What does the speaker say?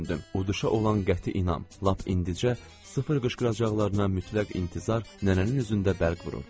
Uduşa olan qəti inam, lap indicə sıfır qışqıracaqlarına mütləq intizar nənənin üzündə bərq vururdu.